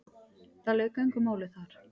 Það lauk engu máli þar.